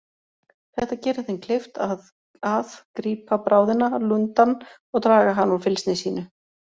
Þetta gerir þeim kleift að að grípa bráðina, lundann, og draga hana úr fylgsni sínu.